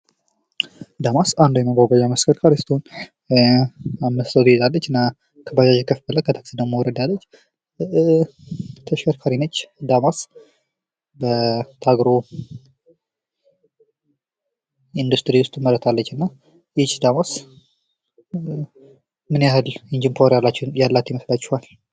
ዳማስ ከባጃጅ ከፍ ያለች ከታክሲ ዝቅ ያለች መጓጓዣ ስትሆን አምስት ሰው ትይዛለች ።እና ምን ያህል ጂ ፖወር ያላት ይመስላችኳል?